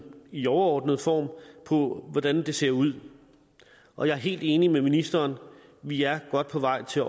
i overordnet form for hvordan det ser ud og jeg er helt enig med ministeren vi er godt på vej til